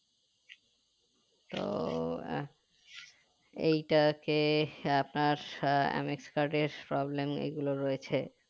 তো আহ এইটাকে আপনার আহ mx card এর problem এগুলো রয়েছে